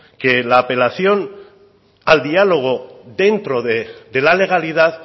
que la apelación al diálogo dentro de la legalidad